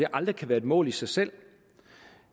aldrig kan være et mål i sig selv